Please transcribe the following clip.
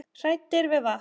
Hræddir við vatn!